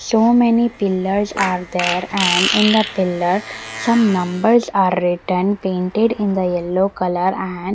so many pillars are there and in the pillar some numbers are written painted in the yellow colour and --